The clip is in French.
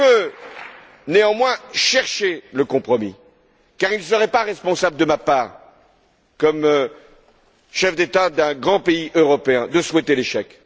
Je veux néanmoins chercher le compromis, car il ne serait pas responsable de ma part, en tant que chef d'État d'un grand pays européen, de souhaiter l'échec.